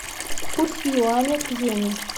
курс юаня к йене